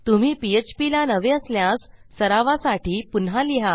तुम्ही पीएचपी ला नवे असल्यास सरावासाठी पुन्हा लिहा